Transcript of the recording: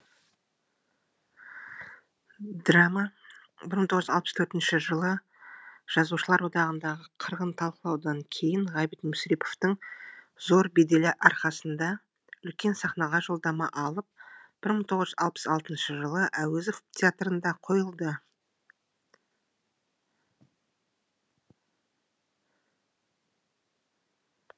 драма мың тоғыз жүз алпыс төртінші жылы жазушылар одағындағы қырғын талқылаудан кейін ғабит мүсіреповтің зор беделі арқасында үлкен сахнаға жолдама алып мың тоғыз жүз алпыс алтыншы жылы әуезов театрында қойылды